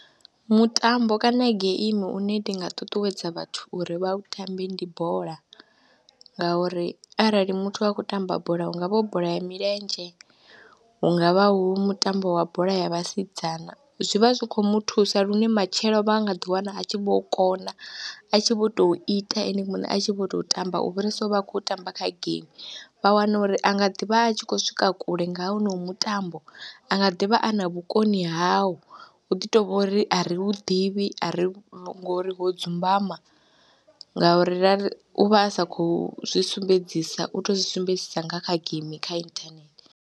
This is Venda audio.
Mutambo kana geimi une ndi nga ṱuṱuwedza vhathu uri vha u tambe ndi bola ngauri arali muthu a khou tamba bola hu nga vha hu bola ya milenzhe, hu nga vha hu mutambo wa bola ya vhasidzana zwi vha zwi khou mu thusa lune matshelo vha nga ḓiwana a tshi vho u kona a tshi vho tou ita ene muṋe, a tshi vho tou tamba u fhirisa u vha a khou tamba kha geimi. Vha wana uri a nga ḓi vha a tshi khou swika kule nga honou mutambo, a nga ḓi vha a na vhukoni havho, hu ḓi tou vha uri a ri hu ḓivhi a ri ngori ho dzumbama ngauri ra ri, u vha a sa khou zwi sumbedzisa u tou zwi sumbedzisa nga kha geimi kha inthanethe.